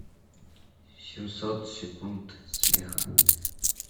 семьсот секунд смеха